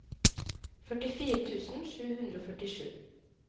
førtifire tusen sju hundre og førtisju